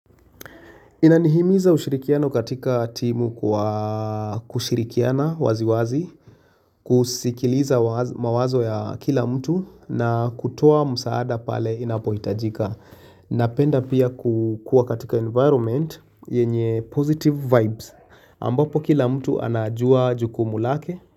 Inanihimiza ushirikiano katika timu kwa kushirikiana wazi wazi, kusikiliza mawazo ya kila mtu na kutoa msaada pale inapohitajika. Napenda pia kukua katika environment yenye positive vibes ambapo kila mtu anajua jukumu lake.